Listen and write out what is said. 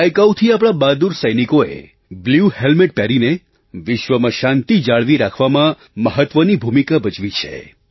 દાયકાઓથી આપણા બહાદુર સૈનિકોએ બ્લ્યુ હૅલ્મેટ પહેરીને વિશ્વમાં શાંતિ જાળવી રાખવામાં મહત્ત્વની ભૂમિકા ભજવી છે